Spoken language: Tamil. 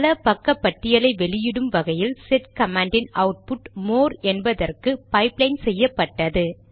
பல பக்க பட்டியலை வெளியிடும் வகையில் செட் கமாண்டின் அவுட்புட் மோர் என்பதற்கு பைப்லைன் செய்யப்பட்டது